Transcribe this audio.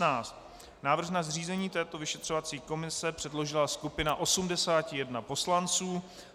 Návrh na zřízení této vyšetřovací komise předložila skupina 81 poslanců.